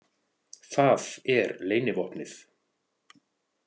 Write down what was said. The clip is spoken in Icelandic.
Það er leynivopnið.